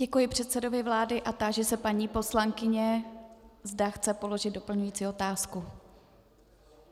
Děkuji předsedovi vlády a táži se paní poslankyně, zda chce položit doplňující otázku.